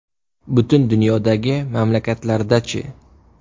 Butun dunyodagi mamlakatlarda-chi?